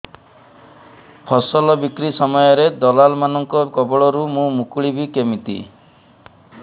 ଫସଲ ବିକ୍ରୀ ସମୟରେ ଦଲାଲ୍ ମାନଙ୍କ କବଳରୁ ମୁଁ ମୁକୁଳିଵି କେମିତି